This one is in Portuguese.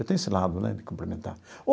Eu tenho esse lado, né, de cumprimentar.